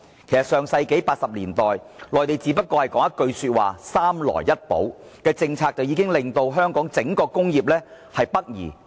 在上世紀80年代，內地只說出一句"三來一補"政策，便吸引了香港的整體工業北移。